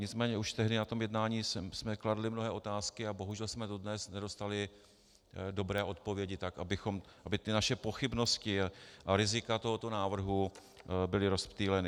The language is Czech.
Nicméně už tehdy na tom jednání jsme kladli mnohé otázky a bohužel jsme dodnes nedostali dobré odpovědi, tak aby ty naše pochybnosti a rizika tohoto návrhu byly rozptýleny.